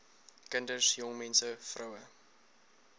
kinders jongmense vroue